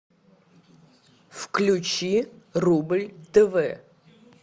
включи рубль тв